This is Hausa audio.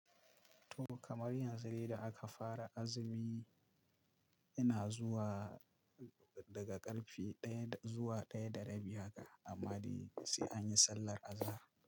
To kamar yanzu dai da aka fara azumi ina zuwa daga ƙarfe ɗaya zuwa ɗaya da rabi haka amade sai anyi sallar azahar.